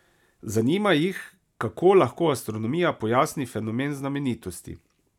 Zanima jih, kako lahko astronomija pojasni fenomen znamenitosti.